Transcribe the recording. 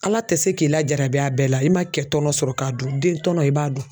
Ala tɛ se k'i lajarabi a bɛɛ la i ma kɛ tɔnɔ sɔrɔ k'a dun den tɔɔnɔ i b'a dun.